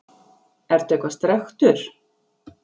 Ertu eitthvað strekktur?